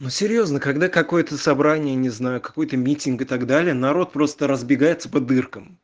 ну серьёзно когда какое-то собрание не знаю какой-то митинг и так далее народ просто разбегается по дыркам